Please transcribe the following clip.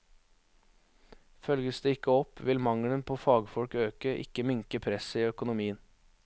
Følges det ikke opp, vil mangelen på fagfolk øke, ikke minke presset i økonomien.